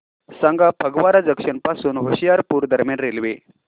सांगा फगवारा जंक्शन पासून होशियारपुर दरम्यान रेल्वे